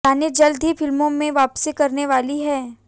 रानी जल्द ही फिल्मों में वापसी करने वाली हैं